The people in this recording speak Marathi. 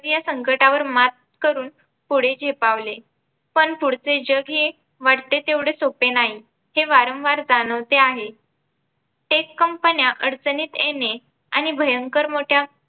या संकटावर मात करून. पुढे झेपावले पण पुढचे जग हे वाटते तेवढे सोप्पे नाही, हे वारंवार जाणवते आहे Tech कंपन्या अडचणीत येणे आणि भयंकर मोठ्या